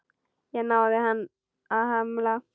Ég náði ekki að hemla.